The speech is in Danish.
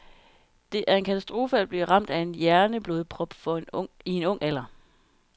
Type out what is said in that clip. Det er en katastrofe at blive ramt af en hjerneblodprop i en ung alder.